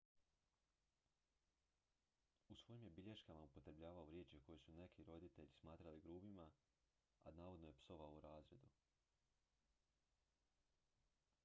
u svojim je bilješkama upotrebljavao riječi koje su neki roditelji smatrali grubima a navodno je psovao u razredu